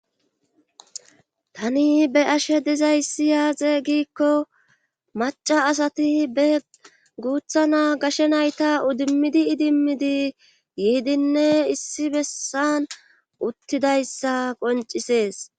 tani be ashe dizayssi yaaze giikko maca asati be guutha naa gashe nayta udimmidi idimmidi yiidinne issi bessan uttidayssa qoncisees